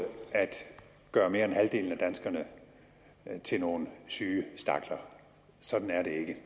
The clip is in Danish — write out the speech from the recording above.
gøre mere end halvdelen af danskerne til nogle syge stakler sådan er det ikke